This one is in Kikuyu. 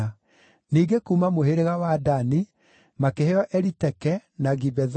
Ningĩ kuuma mũhĩrĩga wa Dani makĩheo Eliteke, na Gibethoni,